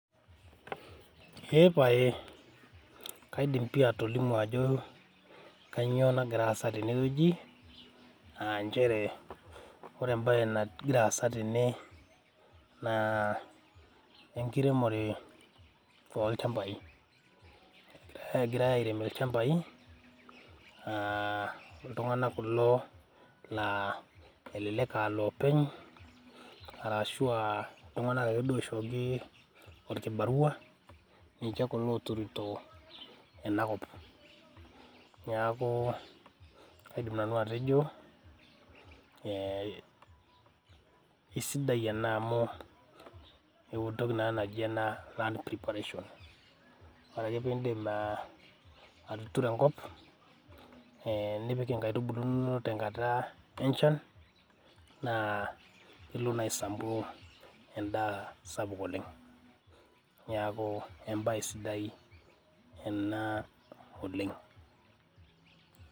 Eeeh paye kaidim pii atolimu ajo kainyio nagira aasa tene wueji, aa nchere ore em`bae nagira aasa tene naa enkiremore oo lchambai. Kegirai aairem ilchambai aa iltung`anak kulo laa elelek aa loopeny ashu iltung`anak kulo oishooki olkibarua ninche ooturito ena kop. Niaku kaidim nanu atejo ee keisidai ena amu entoki naa naji ena land preparation. Ore ake pee idip atuturo enkop nipik in`daiki inonok tenkata enchan naa ilo naa aisampu en`daa sapuk oleng. Niaku em`bae sidai ena oleng.